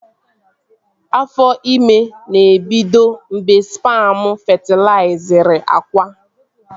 Afọ ime na-ebido mgbe spamu fetilaizịrị akwa